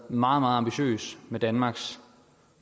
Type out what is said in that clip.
meget meget ambitiøs med danmarks